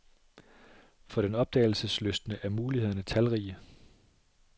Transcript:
For den opdagelseslystne er mulighederne talrige.